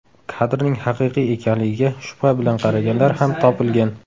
Kadrning haqiqiy ekanligiga shubha bilan qaraganlar ham topilgan.